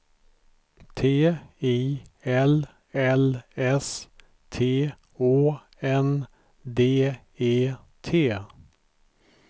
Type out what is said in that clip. T I L L S T Å N D E T